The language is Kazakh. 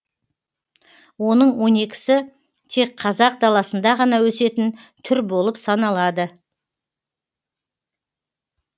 оның он екісі тек қазақ даласында ғана өсетін түр болып саналады